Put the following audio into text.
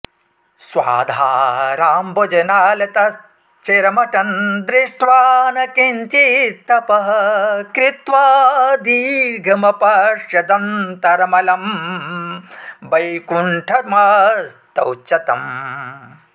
स्वाधाराम्बुजनालतश्चिरमटन् दृष्ट्वा न किञ्चित्तपः कृत्वा दीर्घमपश्यदन्तरमलं वैकुण्ठमस्तौच्च तम्